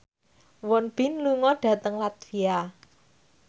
Won Bin lunga dhateng latvia